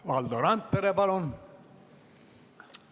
Valdo Randpere, palun!